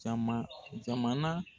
Jama jamana